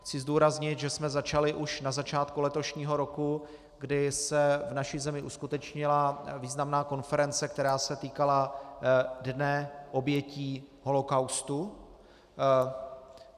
Chci zdůraznit, že jsme začali už na začátku letošního roku, kdy se v naší zemi uskutečnila významná konference, která se týkala Dne obětí holokaustu.